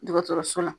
Dɔgɔtɔrɔso la